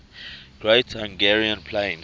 great hungarian plain